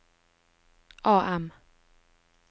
AM